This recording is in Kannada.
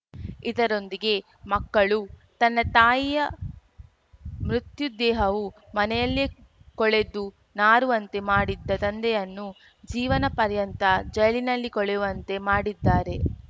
ಇದರೊಂದಿಗೆ ಮಕ್ಕಳು ತನ್ನ ತಾಯಿಯ ಮೃತ್ಯು ದೇಹವು ಮನೆಯಲ್ಲಿಯೇ ಕೊಳೆತು ನಾರುವಂತೆ ಮಾಡಿದ್ದ ತಂದೆಯನ್ನು ಜೀವನ ಪರ್ಯಂತ ಜೈಲಿನಲ್ಲಿ ಕೊಳೆಯುವಂತೆ ಮಾಡಿದ್ದಾರೆ